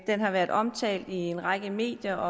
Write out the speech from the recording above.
har været omtalt i en række medier